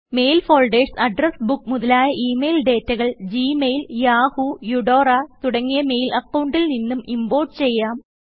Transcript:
mail folders address book മുതലായ email ഡേറ്റകൾ Gmail Yahoo Eudora തുടങ്ങിയ mail അക്കൌണ്ടിൽ നിന്നും ഇംപോർട്ട് ചെയ്യാം